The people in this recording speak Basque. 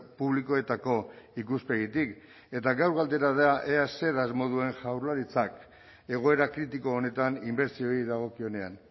publikoetako ikuspegitik eta gaur galdera da ea zer asmo duen jaurlaritzak egoera kritiko honetan inbertsioei dagokionean